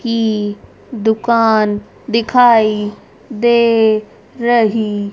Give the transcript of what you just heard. की दुकान दिखाई दे रही--